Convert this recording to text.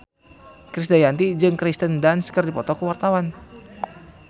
Krisdayanti jeung Kirsten Dunst keur dipoto ku wartawan